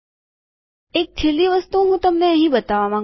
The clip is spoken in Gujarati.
એક છેલ્લી વસ્તુ હું તમને અહીં બતાવવા માંગું છું